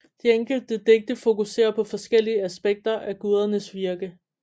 De enkelte digte fokuserer på forskellige aspekter af gudernes virke